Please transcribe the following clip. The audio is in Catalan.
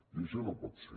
i això no pot ser